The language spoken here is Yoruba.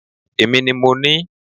Èmi ni mo ní